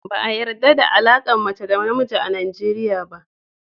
Ba a yarɗa da alaƙar mace da mace a Najeriya ba.